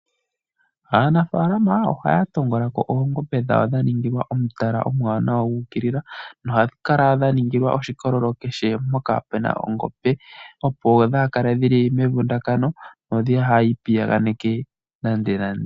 Aanafalama ohaya tongola ko oongombe dhawo dha ningilwa omutala omuwanawa gu ukilila, no hadhi kala dha ningilwa oshikololo kehe mpoka puna ongombe. Opo dhaa kale dhili mevundakano no haadhi ipiyaganeke nande nande.